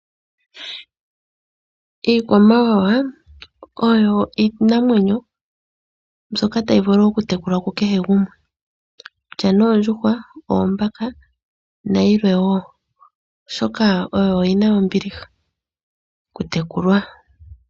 Iikwamawawa oyo iinamwenyo mbyoka tayi vulu okutekulwa kukehe gumwe, kutya oondjuhwa, oombaka nayilwe wo, oshoka oyo yi na ombiliha okutekulwa.